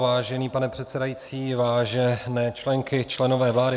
Vážený pane předsedající, vážené členky, členové vlády.